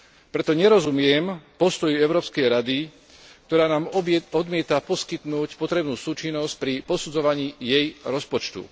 Preto nerozumiem postoju Európskej rady, ktorá nám odmieta poskytnúť potrebnú súčinnosť pri posudzovaní jej rozpočtu.